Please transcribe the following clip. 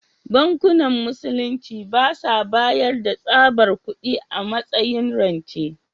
Bankunan Musulunci ba sa bayar da tsabar kudi a matsayin rance.